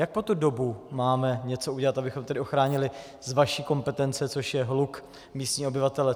Jak po tu dobu máme něco udělat, abychom tedy ochránili z vaší kompetence, což je hluk, místní obyvatele?